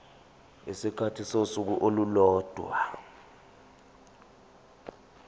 isikhathi sosuku olulodwa